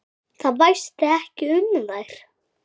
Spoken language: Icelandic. Það væsti ekki um þær.